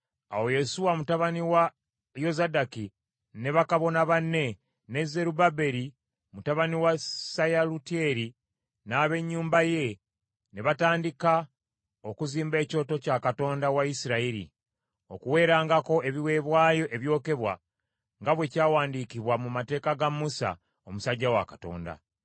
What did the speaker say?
Awo Yesuwa mutabani wa Yozadaki ne bakabona banne, ne Zerubbaberi mutabani wa Seyalutyeri n’ab’ennyumba ye ne batandika okuzimba ekyoto kya Katonda wa Isirayiri, okuweerangako ebiweebwayo ebyokebwa nga bwe kyawandiikibwa, mu Mateeka ga Musa omusajja wa Katonda.